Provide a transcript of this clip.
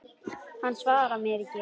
Hann svarar mér ekki.